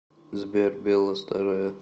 сбер белла старая